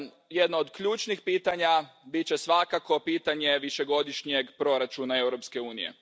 Jedno od ključnih pitanja bit će svakako pitanje višegodišnjeg proračuna Europske unije.